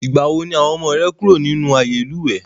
Ìgbàwo ni àwọn ọmọ rẹ kúrò nínú ààyè ìlúwẹ́?